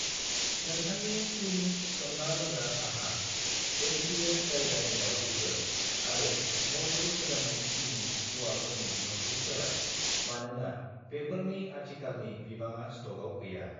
नोंथांनि त्विनिंस सोमना लोंग्रा साहा , एमपिएम जायगानि दाउदैफोर आरो मधुर सोदांनाय सिनि मुवाफोरनि बिबांखौ सोलाय मानोना बेफोरनि आथिखालनि बिबाङा स्टकआव गैया